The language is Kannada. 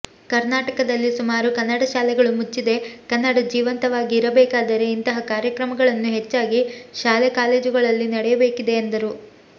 ಕರ್ನಾಟಕದಲ್ಲಿ ಸುಮಾರು ಕನ್ನಡ ಶಾಲೆಗಳು ಮುಚ್ಚಿದೆ ಕನ್ನಡ ಜೀವಂತವಾಗಿ ಇರಬೇಕಾದರೆ ಇಂತಹ ಕಾರ್ಯಕ್ರಮಗಳನ್ನು ಹೆಚ್ಚಾಗಿ ಶಾಲೆ ಕಾಲೇಜುಗಳಲ್ಲಿ ನಡೆಯಬೇಕಿದೆ ಎಂದರು